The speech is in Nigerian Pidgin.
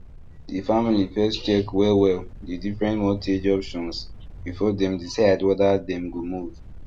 the family first check wellwell the different mortgage options before dem decide whether dem go move